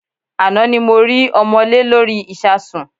Àná ni mo rí ọmọ́lé lórí ìsasùn.